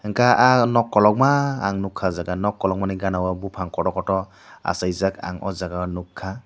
ka ahh non kologma ang nukka o jaaga non kologma ni jaaga o bufang kotor kotor asaijak ang ow jaaga o nugkka.